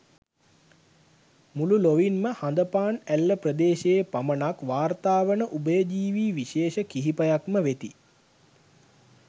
මුළු ලොවින් ම හඳපාන් ඇල්ල ප්‍රදේශයේ පමණක් වාර්තා වන උභයජීවී විශේෂ කිහිපයක් ම වෙති.